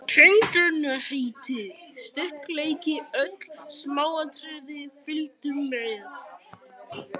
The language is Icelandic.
Tegundarheiti, styrkleiki, öll smáatriði fylgdu með.